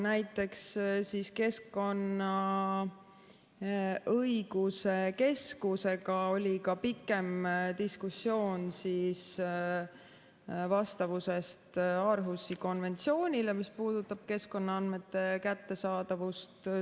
Näiteks Keskkonnaõiguse Keskusega oli pikem diskussioon vastavusest Århusi konventsioonile, mis puudutab keskkonnaandmete kättesaadavust.